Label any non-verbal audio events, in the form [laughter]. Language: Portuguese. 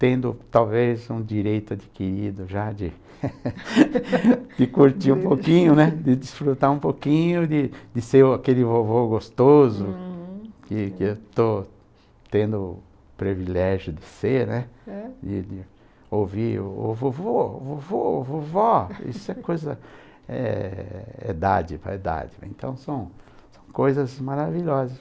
tendo talvez um direito adquirido já de [laughs] curtir um pouquinho, né de desfrutar um pouquinho, de de ser aquele vovô gostoso, uhum, que que eu estou tendo o privilégio de ser, é? de ouvir o vovô, vovô, vovó, isso é coisa, é dádiva, é dádiva, então são coisas maravilhosas.